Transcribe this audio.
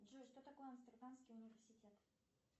джой что такое амстердамский университет